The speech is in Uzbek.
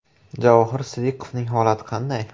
Javohir Sidiqovning holati qanday?